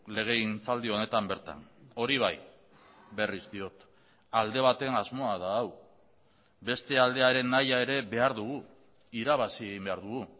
legegintzaldi honetan bertan hori bai berriz diot alde baten asmoa da hau beste aldearen nahia ere behar dugu irabazi egin behar dugu